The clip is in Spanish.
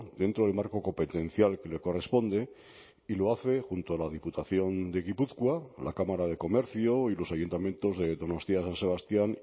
dentro del marco competencial que le corresponde y lo hace junto a la diputación de gipuzkoa a la cámara de comercio y los ayuntamientos de donostia san sebastián